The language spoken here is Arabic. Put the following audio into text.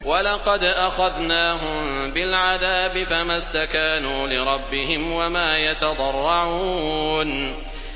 وَلَقَدْ أَخَذْنَاهُم بِالْعَذَابِ فَمَا اسْتَكَانُوا لِرَبِّهِمْ وَمَا يَتَضَرَّعُونَ